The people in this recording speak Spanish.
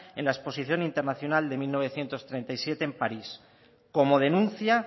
en la exposición internacional de mil novecientos treinta y siete en parís como denuncia